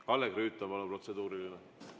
Kalle Grünthal, palun, protseduuriline!